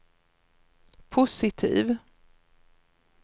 positiv